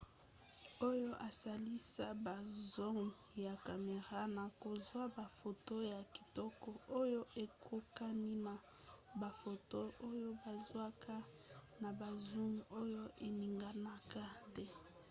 oyo esalisa ba zoom ya camera na kozwa bafoto ya kitoko oyo ekokani na bafoto oyo bazwaka na ba zoom oyo eninganaka te